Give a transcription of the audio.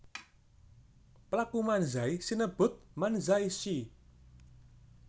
Pelaku Manzai sinebut Manzai shi